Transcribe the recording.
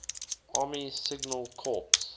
army signal corps